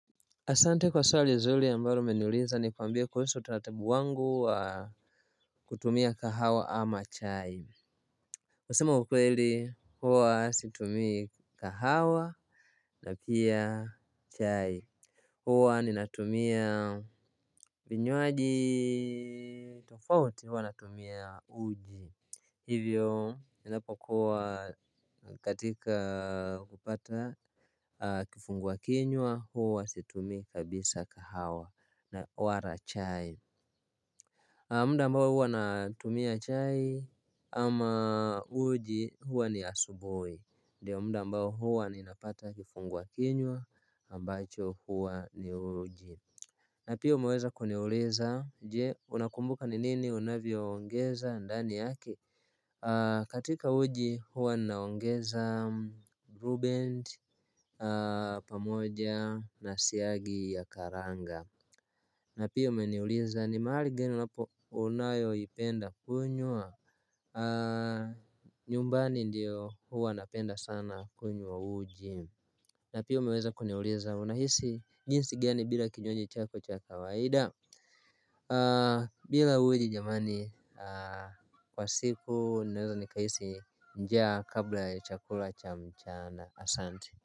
Asante kwa swali zuri ambalo umenuliza nikwambie kuhusu utaratibu wangu wa kutumia kahawa ama chai Kusema ukweli huwa situmii kahawa na pia chai huwa ninatumia vinywaji tofauti huwa natumia uji hivyo ninapokuwa katika kupata kifungua kinywa huwa situmii kabisa kahawa na wala chai Muda ambao huwa natumia chai ama uji huwa ni asubuhi ndiyo muda ambao huwa ninapata kifungua kinywa ambacho huwa ni uji na pia umeweza kuniuliza je unakumbuka ni nini unavyoongeza ndani yake katika uji huwa naongeza blueband pamoja na siagi ya karanga na pia umeniuliza ni mahali gani unapo unayoipenda kunywa nyumbani ndio huwa napenda sana kunywa uji na pia umeweza kuniuliza unahisi jinsi gani bila kinywaji chako cha kawaida bila uji jamani kwa siku ninaweza nikahisi njaa kabla ya chakula cha mchana asante.